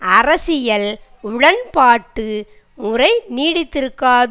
அரசியல் உடன்பாட்டுமுறை நீடித்திருக்காது